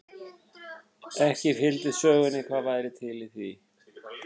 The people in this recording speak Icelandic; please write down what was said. Ekki fylgdi sögunni hvað væri til í því.